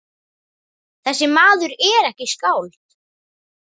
Þessi maður er ekki skáld.